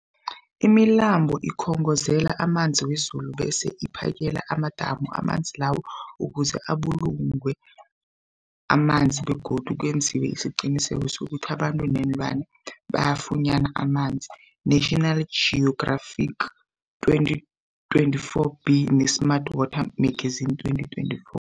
Imilambo ikhongozela amanzi wezulu bese iphakele amadamu amanzi lawo ukuze abulungwe amanzi begodu kwenziwe isiqiniseko sokuthi abantu neenlwana bafunyana amanzi, National Geographic 2024b, ne-Smart Water Magazine 2024.